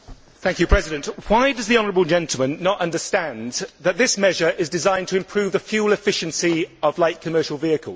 Mr President, why does the honourable gentleman not understand that this measure is designed to improve the fuel efficiency of light commercial vehicles?